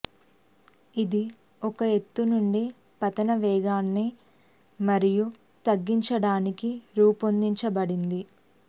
ఇది ఒక ఎత్తు నుండి పతనం వేగాన్ని మరియు తగ్గించడానికి రూపొందించబడింది